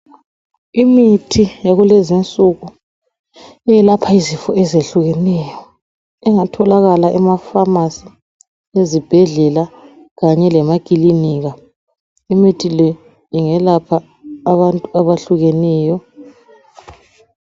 Imithi yakulezi insuke eyelapha izifo ezitshiyenyo engatholakala emaphamacy ezibhedlela kanye lasemaclinika imithi le ingelapha abantu abahlukeneyo